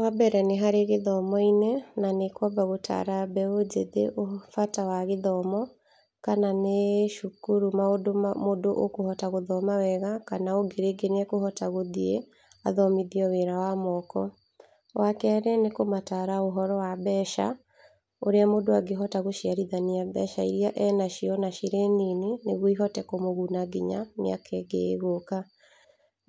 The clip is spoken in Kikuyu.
Wa mbere nĩ harĩ gĩthomo-inĩ, na nĩ kwamba gũtara mbeũ njĩthĩ bata wa gĩthomo, kana nĩ cukuru maũndũ mũndũ ũkũhota gũthoma wega kana ũngĩ rĩngĩ nĩ ekũhota gũthiĩ athomithio wĩra wa moko. Wa kerĩ nĩ kũmatara ũhoro wa mbeca, ũrĩa mũndũ angĩhota gũciarithania mbeca iria enacio ona ciĩ nini, nĩguo ihote kũmũguna nginya mĩaka ĩngĩ ĩgũka,